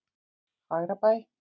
Fagrabæ